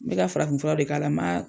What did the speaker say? Me ka farafin furaw de k'a la ma.